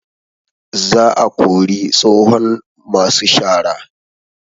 Za a kori tsohon masu shara